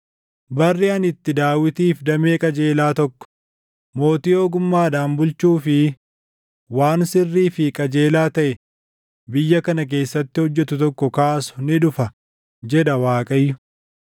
“Barri ani itti Daawitiif damee qajeelaa tokko, mootii ogummaadhaan bulchuu fi waan sirrii fi qajeelaa taʼe biyya kana keessatti hojjetu tokko kaasu ni dhufa” // jedha Waaqayyo.